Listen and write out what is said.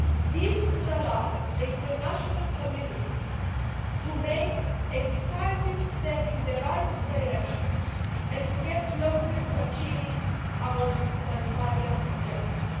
This would allow the international community to make a decisive step in the right direction and to get closer to achieving our humanitarian objectives.